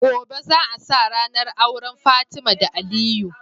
Gobe za a sa rAnar auren fatima da aliyu